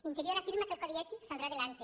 interior afirma que el codi ètic saldrá adelante